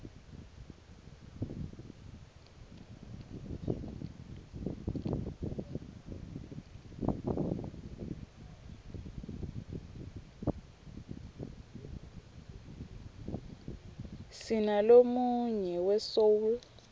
sinalonuyg we soul